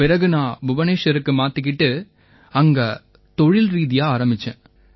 பிறகு நான் புபநேஷ்வருக்கு மாத்திக்கிட்டு அங்க தொழில்ரீதியா ஆரம்பிச்சேன்